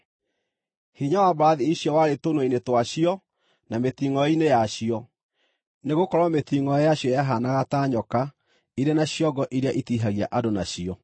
Hinya wa mbarathi icio warĩ tũnua-inĩ twacio na mĩtingʼoe-inĩ yacio, nĩgũkorwo mĩtingʼoe yacio yahaanaga ta nyoka ĩrĩ na ciongo iria itihagia andũ nacio.